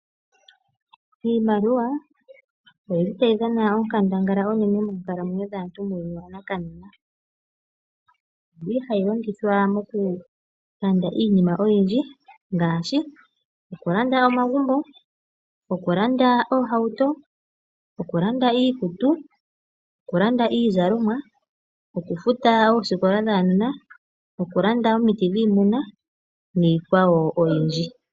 Iimaliwa oyili tayi dhana onkandangala onene moonkalamwenyo dhaantu muuyuuni wanakanena. Oyili hayi longithwa moku landa iinima oyindji ngaashi okulanda omagumbo, okulanda oohauto, okulanda iikutu, okulanda iizalomwa, okufuta ooskola dhaanona, okulanda omiti dhiimuna niikwawo oyindji.